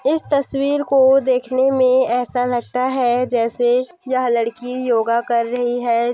इस तस्वीर को देखने में ऐसा लगता है जैसे यह लड़की योगा कर रही है।